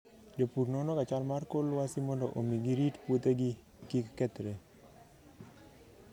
Jopur nonoga chal mar kor lwasi mondo omi girit puothegi kik kethre.